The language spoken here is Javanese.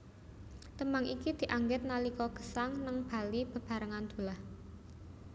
Tembang iki dianggit nalika Gesang néng Bali bebareng Dullah